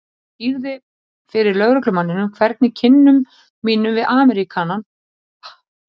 Ég skýrði fyrir lögreglumanninum hvernig kynnum mínum við Ameríkanann hefði verið háttað.